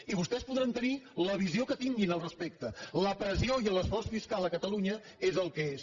i vostès podran tenir la visió que tinguin al respecte la pressió i l’esforç fiscal a catalunya és el que és